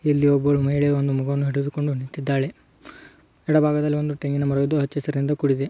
ಇಲ್ಲಿ ಒಬ್ಬ ಮಹಿಳೆ ಒಂದು ಮಗುವನ್ನು ಆಟವಾಡಿಸಿಕೊಂಡು ನಿಂತಿದ್ದಾಳೆ. ಎಡಭಾಗದಲ್ಲಿ ಒಂದು ತೆಂಗಿನ ಮರವಿದ್ದು ಹಚ್ಚ ಹಸಿರಿನಿಂದ ಕೂಡಿದೆ.